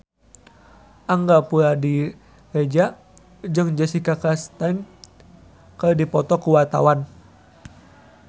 Angga Puradiredja jeung Jessica Chastain keur dipoto ku wartawan